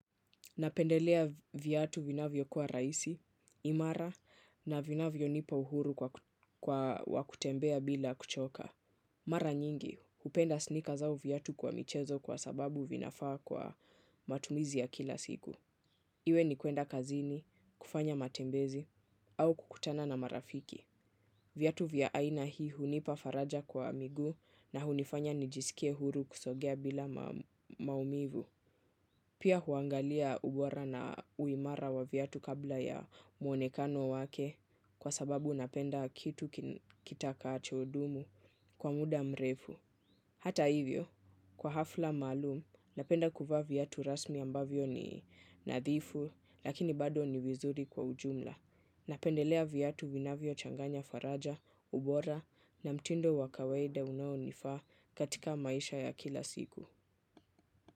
Napendelea viatu vinavyo kuwa rahisi, imara na vinavyonipa uhuru wa kutembea bila kuchoka. Mara nyingi, hupenda snika zao viatu kwa michezo kwa sababu vinafaa kwa matumizi ya kila siku. Iwe ni kuenda kazini, kufanya matembezi, au kukutana na marafiki. Viatu vya aina hii hunipa faraja kwa miguu na hunifanya nijisikie huru kusogea bila maumivu. Pia huangalia ubora na uimara wa viatu kabla ya muonekano wake kwa sababu napenda kitu kitakachodumu kwa muda mrefu. Hata hivyo, kwa hafla malum, napenda kuvaa viatu rasmi ambavyo ni nadhifu lakini bado ni vizuri kwa ujumla. Napendelea viatu vinavyochanganya faraja, ubora na mtindo wa kawaida unaonifaa katika maisha ya kila siku.